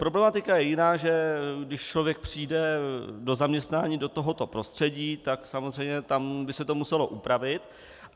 Problematika je jiná, že když člověk přijde do zaměstnání do tohoto prostředí, tak samozřejmě tam by se to muselo upravit.